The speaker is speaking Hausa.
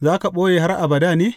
Za ka ɓoye har abada ne?